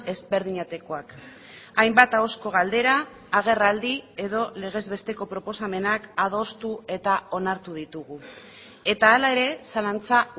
ezberdinetakoak hainbat ahozko galdera agerraldi edo legez besteko proposamenak adostu eta onartu ditugu eta hala ere zalantza